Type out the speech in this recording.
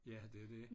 Ja det er det